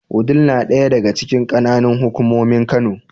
Wudil na ɗaya daga cikin ƙananan hukumomin Kano.